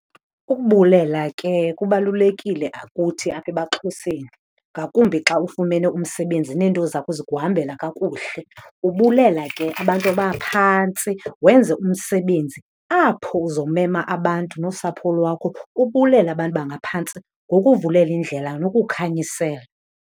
Ukubulela ke kubalulekile kuthi apha ebaXhoseni, ngakumbi xa ufumene umsebenzi neento zakho zikuhambela kakuhle. Ubulela ke abantu abaphantsi, wenze umsebenzi apho uzomema abantu nosapho lwakho ubulela abantu bangaphantsi ngokuvulela indlela nokukhanyisela.